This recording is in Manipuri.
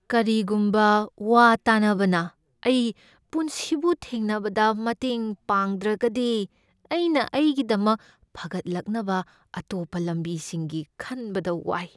ꯀꯔꯤꯒꯨꯝꯕ ꯋꯥ ꯇꯥꯅꯕꯅ ꯑꯩ ꯄꯨꯟꯁꯤꯕꯨ ꯊꯦꯡꯅꯕꯗ ꯃꯇꯦꯡ ꯄꯥꯡꯗ꯭ꯔꯒꯗꯤ ꯑꯩꯅ ꯑꯩꯒꯤꯗꯃꯛ ꯐꯒꯠꯂꯛꯅꯕ ꯑꯇꯣꯞꯄ ꯂꯝꯕꯤꯁꯤꯡꯒꯤ ꯈꯟꯕꯗ ꯋꯥꯏ꯫